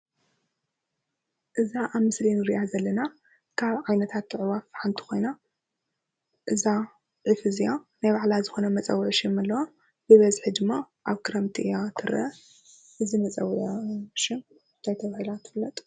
እዛ አብ ምስሊ እንሪአ ዘለና ካብ ዓይነታት አዕዋፍ ሓንቲ ኮይና እዛ ዒፍ እዚአ ናይ ባዕላ ዝኾነ መፀውዒ ሽም አለዋ። ብበዝሒ ድማ አብ ክረምቲ እያ ትርአ:: እዚ መፀውዒዓ ሽም እንታይ ተባሂላ ትፍለጥ?